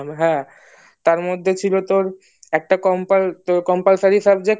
হ্যাঁ তার মধ্যে ছিল তোর একটা compulsory subject